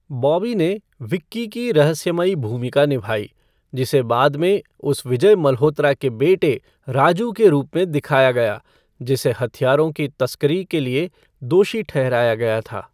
बॉबी ने विक्की की रहस्यमयी भूमिका निभाई, जिसे बाद में उस विजय मल्होत्रा के बेटे राजू के रूप में दिखाया गया, जिसे हथियारों की तस्करी के लिए दोषी ठहराया गया था।